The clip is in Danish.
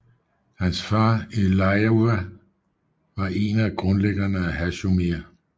Hans far Eliyahu var en af grundlæggerne af Hashomer